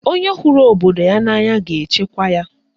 Onye hụrụ obodo ya n'anya ga-echekwa ya.